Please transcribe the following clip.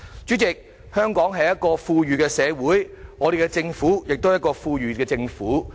主席，香港是一個富裕的社會，我們的政府也是一個富裕的政府。